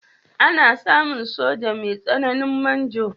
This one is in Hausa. Ana samun soja mai matsayin manjo.